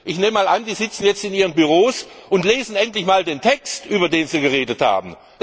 Ich nehme einmal an, die sitzen in ihren Büros und lesen endlich mal den Text, über den sie geredet haben.